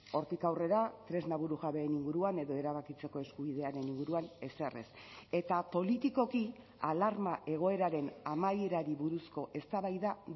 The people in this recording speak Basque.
hortik aurrera tresna burujabeen inguruan edo erabakitzeko eskubidearen inguruan ezer ez eta politikoki alarma egoeraren amaierari buruzko eztabaida